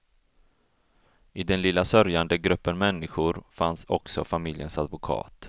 I den lilla sörjande gruppen människor fanns också familjens advokat.